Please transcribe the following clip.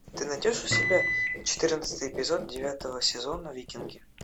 ты найдешь у себя четырнадцатый эпизод девятого сезона викинги